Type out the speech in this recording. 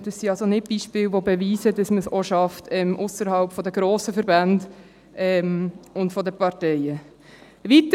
Das sind keine Beispiele, die beweisen, dass man es auch ausserhalb der grossen Verbände und der Parteien schafft.